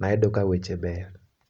nayudo ka weche beyo.